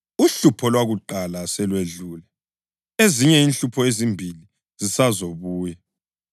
Uhlupho lwakuqala selwedlule; ezinye inhlupho ezimbili zisazobuya.